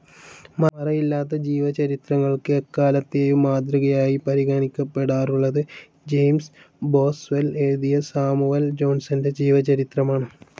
മറയില്ലാത്ത ജീവചരിത്രങ്ങൾക്ക് എല്ലാക്കാലത്തേയും മാതൃകയായി പരിഗണിക്കപ്പെടാറുള്ളത് ജെയിംസ് ബോസ്വെൽ എഴുതിയ സാമുവൽ ജോൺസന്റെ ജീവചരിത്രമാണ്.